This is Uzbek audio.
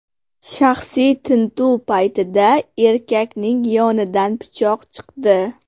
Shaxsiy tintuv paytida erkakning yonidan pichoq chiqdi.